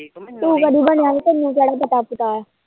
ਤੂੰ ਕਦੀ ਬਣਿਆ ਤੈਨੂੰ ਕੀ ਪਤਾ